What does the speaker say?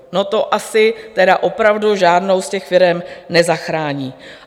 No to asi tedy opravdu žádnou z těch firem nezachrání.